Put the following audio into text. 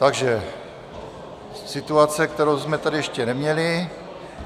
Takže situace, kterou jsme tady ještě neměli.